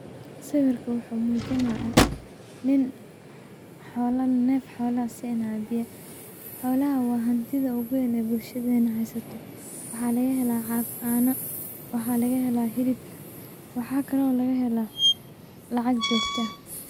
Sawirkan wuxu mujinaya niin nef xola ah cunta sinayo, xolaha wa hantida oguween ee bulshadena hesato waxa lagahela cano, hilib iyo lacag.